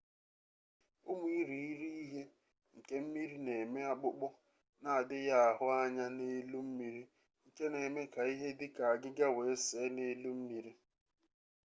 ụmụ irighiri ihe nke mmiri na-eme akpụkpọ na-adịghị ahụ anya n'elu mmiri nke na-eme ka ihe dị ka agịga wee see n'elu mmiri